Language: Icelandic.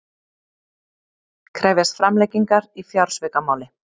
Krefjast framlengingar í fjársvikamáli